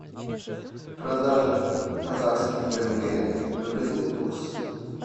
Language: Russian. продажа казахских тенге выгодный курс